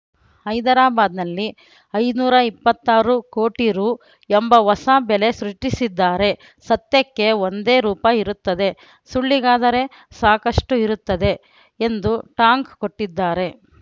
ಹೈದರಾಬಾದ್‌ನಲ್ಲಿ ಐನೂರ ಇಪ್ಪತ್ತಾರು ಕೋಟಿ ರು ಎಂಬ ಹೊಸ ಬೆಲೆ ಸೃಷ್ಟಿಸಿದ್ದಾರೆ ಸತ್ಯಕ್ಕೆ ಒಂದೇ ರೂಪ ಇರುತ್ತದೆ ಸುಳ್ಳಿಗಾದರೆ ಸಾಕಷ್ಟುಇರುತ್ತವೆ ಎಂದು ಟಾಂಗ್‌ ಕೊಟ್ಟಿದ್ದಾರೆ